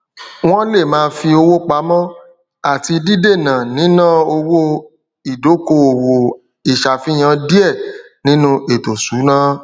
wọn le ma fi owo pamó ati dídèna níná owó ìdọkowọ ìṣàfihàn diẹ nínú ètò ìṣúná